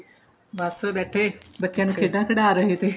ਬਸ ਬੈਠੇ ਬੱਚਿਆ ਨੂੰ ਖੇਡਾ ਖਡਾ ਰਹੇ ਥੇ